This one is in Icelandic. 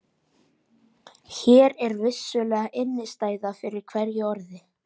Hér er vissulega innistæða fyrir hverju orði.